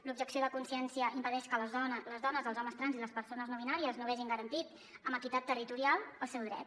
l’objecció de consciència impedeix que les dones els homes trans i les persones no binàries no vegin garantit amb equitat terri·torial el seu dret